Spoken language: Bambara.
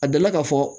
A dala ka fɔ